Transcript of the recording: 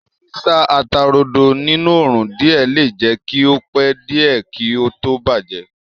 Sísá ata-rodo ní òrùn díẹ̀ le jẹ́ kí ó pẹ́ díẹ̀ kí ó tó bàjẹ́